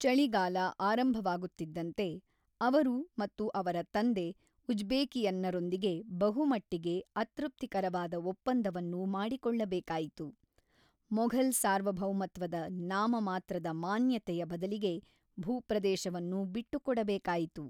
ಚಳಿಗಾಲ ಆರಂಭವಾಗುತ್ತಿದ್ದಂತೆ, ಅವರು ಮತ್ತು ಅವರ ತಂದೆ ಉಜ್ಬೇಕಿಯನ್ನರೊಂದಿಗೆ ಬಹುಮಟ್ಟಿಗೆ ಅತೃಪ್ತಿಕರವಾದ ಒಪ್ಪಂದವನ್ನು ಮಾಡಿಕೊಳ್ಳಬೇಕಾಯಿತು, ಮೊಘಲ್ ಸಾರ್ವಭೌಮತ್ವದ ನಾಮಮಾತ್ರದ ಮಾನ್ಯತೆಯ ಬದಲಿಗೆ ಭೂಪ್ರದೇಶವನ್ನು ಬಿಟ್ಟುಕೊಡಬೇಕಾಯಿತು.